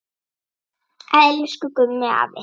Elsku Gummi afi.